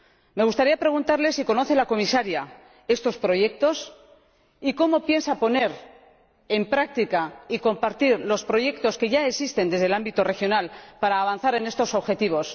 Me gustaría preguntarle a la Comisaria si conoce estos proyectos y cómo piensa poner en práctica y compartir los proyectos que ya existen en el ámbito regional para avanzar en estos objetivos